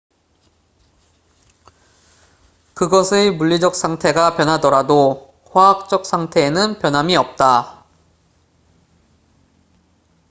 그것의 물리적 상태가 변하더라도 화학적 상태에는 변함이 없다